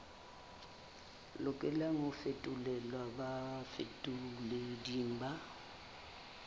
lokelang ho fetolelwa bafetoleding ba